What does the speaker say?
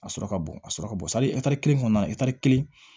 A sɔrɔ ka bon a sɔrɔ ka bon kelen kɔnɔna na kelen